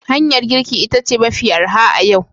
Hanyar girki ita ce mafi arha a yau